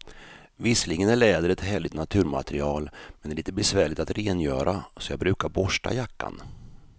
Visserligen är läder ett härligt naturmaterial, men det är lite besvärligt att rengöra, så jag brukar borsta jackan.